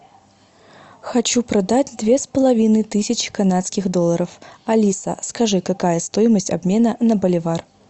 хочу продать две с половиной тысячи канадских долларов алиса скажи какая стоимость обмена на боливар